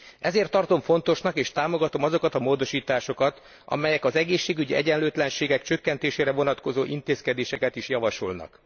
Ezért tartom fontosnak és támogatom azokat a módosításokat, amelyek az egészségügyi egyenlőtlenségek csökkentésére vonatkozó intézkedéseket is javasolnak.